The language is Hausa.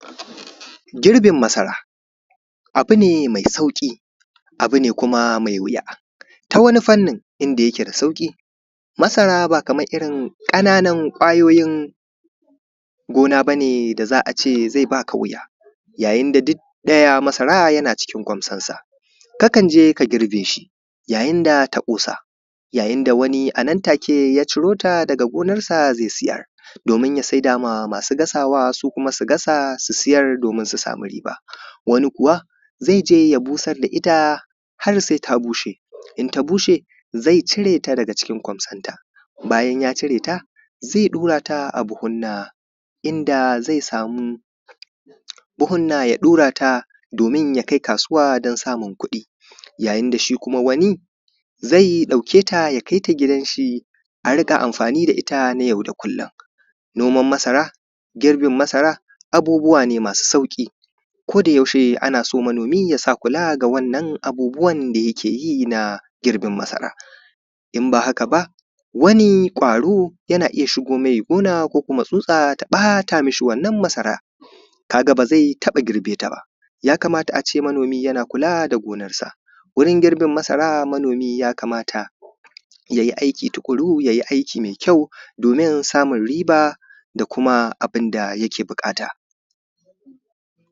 Girbin masara abu ne mai sauƙi, abu ne kuma wuya. Ta wani fannin inda yake da sauƙi, masara ba kaman irin ƙananan ƙwayoyin gona ba ne da za a ce zai baka wuya, yayin da duk ɗaya masara yana cikin ƙwansonsa, kakan je ka girbe shi yayin da ta ƙosa. Yayin da a nan take wani ya ciro ta daga gonarsa zai sayar. Domin sayarwa da masu gasawa, su kuma su gasa su sayar domin su sami riba wani ku wa zai je ya busar da ita har sai ta bushe, idan ta bushe zai cire ta daga cikin kwansonta, bayan ya cire ta zai ɗura ta a buhunna i inda zai samu buhunna ya ɗora ta domin ya kai kasuwa don samun kuɗi. Yayin da shi kuma wani zai ɗauke ta ya kai ta gidan shi, a riƙa amfani da ita na yau da kulum. Noman masara girbin masara abubuwa ne masu sauƙi. Kodayaushe ana so manomi ya sa kula ga wannan abubuwan da yakeyi na girbin masara, in ba haka ba wani ƙwaro yana iya shigo mai gona ko kuma tsutsa ta ɓata mai wannan masara, ka ga ba zai taɓa girbe ta ba. Yakamata a ce manomi yana kula da gonarsa, gurin girbin masara manomi yakamata ya yi aiki tuƙuru ya yi aiki mai kyau domin samun riba da kuma abin da yake buƙata.